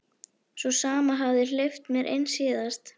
Sú sama og hafði hleypt mér inn síðast.